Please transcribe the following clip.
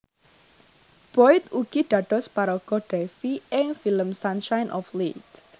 Boyd ugi dados paraga Davie ing film Sunshine of Leith